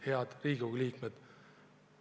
Head Riigikogu liikmed!